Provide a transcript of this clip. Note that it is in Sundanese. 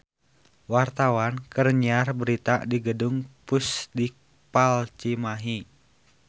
Wartawan keur nyiar berita di Gedung Pusdikpal Cimahi